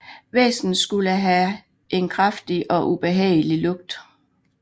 Væsenet skulle have en kraftig og ubehagelig lugt